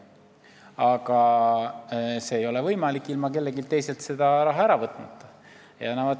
Aga seda ei ole võimalik teha ilma kelleltki teiselt raha ära võtmata.